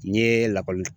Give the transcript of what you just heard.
N ye lakɔli